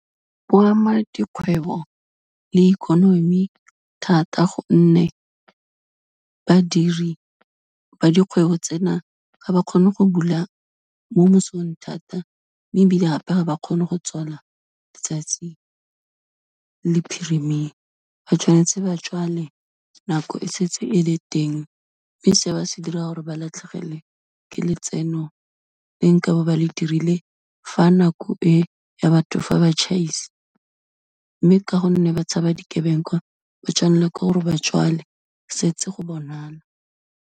Bo ama dikgwebo le ikonomi thata gonne, badiri ba dikgwebo tsena ga ba kgone go bula mo mosong thata, mme ebile gape ga ba kgone go tswala letsatsi le phirimile, ba tshwanetse ba tswale nako e setse e le teng, mme se o se dira gore ba latlhegelwe ke letseno le nkabo ba le dirile fa nako e ya batho fa ba tjhaisa, mme ka gonne ba tshaba dikebekwa, ba tswanelwa ke gore ba tswale setse go bonala.